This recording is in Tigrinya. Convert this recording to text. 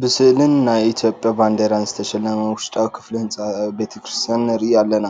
ብስእልን ናይ ኢትዮጵያ ባንዲራን ዝተሸለመ ውሽጣዊ ክፍሊ ህንፃ ቤተ ክርስቲያን ንርኢ ኣለና፡፡